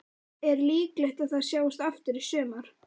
Er líklegt að það sjáist aftur í sumar?